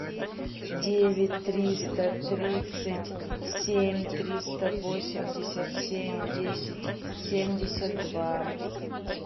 девять триста тридцать семь триста восемьдесят семь десять семьдесят два